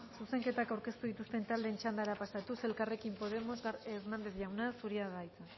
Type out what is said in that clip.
casanova jauna zuzenketak aurkeztu dituzten taldeen txandara pasatuz elkarrekin podemos hernandez jauna zurea da hitza